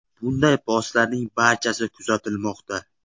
Bunday postlarning barchasi kuzatilmoqda.